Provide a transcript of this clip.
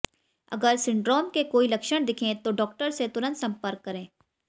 अगर सिंड्रोम के कोई लक्षण दिखें तो डॉक्टर से तुरंत संपर्क करें